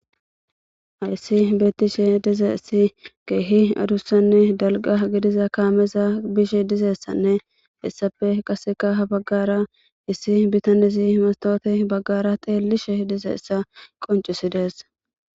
Hayssi bettishshe dizayssi keehi adussanne dalga gidiza kaameza bishe dizeessanne hessafe qasseka ha baggara issi bitanizi mastoote baggara teellishe dizeessa qoncisidees